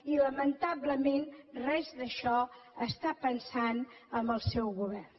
i lamentablement en res d’això està pensant el seu govern